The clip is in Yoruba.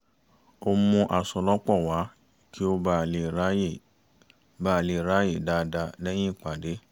ó mú aṣọ lọ́pọ̀ wá kí ó bà lè ráàyè bà lè ráàyè dáadáa lẹ́yìn ìpàdé